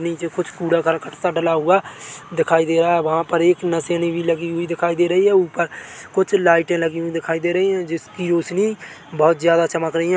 नीचे कुछ कूड़ा करकट सा डला हुआ दिखाई दे रहा है वहाँ पर एक नसैनी भी लगी हुई दिखाई दे रही है ऊपर कुछ लाइटे लगी हुई दिखाई दे रही है जिसकी रोशनी बहोत ज्यादा चमक रही है।